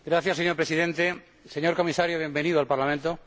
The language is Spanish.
Señor Presidente, señor Comisario, bienvenido al Parlamento.